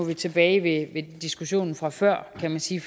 vi tilbage ved diskussionen fra før kan man sige